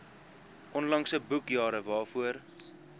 onlangse boekjare waarvoor